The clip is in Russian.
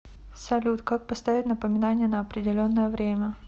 салют как поставить напоминание на определенное время